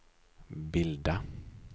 bilda